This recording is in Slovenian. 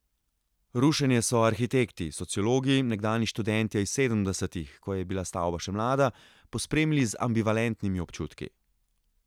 Rušenje so arhitekti, sociologi, nekdanji študentje iz sedemdesetih, ko je bila stavba še mlada, pospremili z ambivalentnimi občutki.